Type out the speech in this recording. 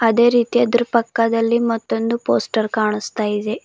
ಅದೇ ರೀತಿ ಅದರ ಪಕ್ಕದಲ್ಲಿ ಮತ್ತೊಂದು ಪೋಸ್ಟರ್ ಕಾಣಸ್ತಾ ಇದೆ.